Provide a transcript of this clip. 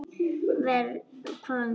Verr, hváðum við.